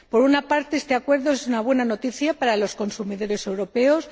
Por una parte, este acuerdo es una buena noticia para los consumidores europeos.